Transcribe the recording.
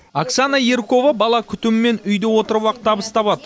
оксана яркова бала күтімімен үйде отырып ақ табыс табады